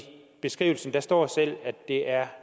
beskrivelsen står at det er